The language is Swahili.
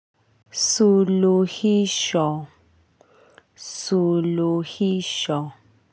Suluhisho suluhisho.